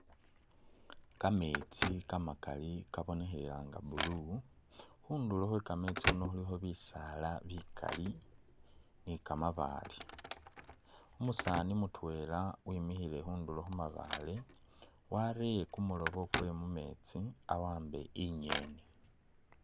Kametsi kamakali kabonekhelela nga blue, khundulo khwekametsi khuno khulikho bisaala nga bikaali ne kamabaale, umusaani mutwela wemikhile khundulo khumabaale warere kumuloobo kwewe mumetsi awambe ingeni.